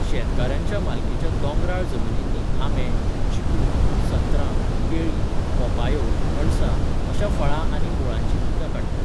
शेतकारांच्या मालकीच्या दोंगराळ जमनींनी आंबे, चिकू, संत्रां, केळी, पोपायो, अणसां अश्या फळां आनी मुळांचीं पिकां काडटात.